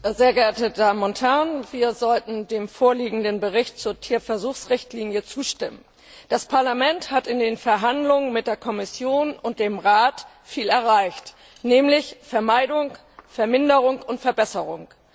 Herr Präsident, sehr geehrte Damen und Herren! Wir sollten dem vorliegenden Bericht zur Tierversuchsrichtlinie zustimmen. Das Parlament hat in den Verhandlungen mit der Kommission und dem Rat viel erreicht nämlich Vermeidung, Verminderung und Verbesserung.